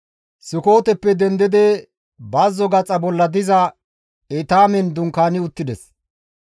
Sukooteppe dendidi bazzo gaxa bolla diza Etaamen dunkaani uttides.